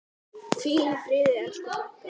Hvíl í friði elsku frænka.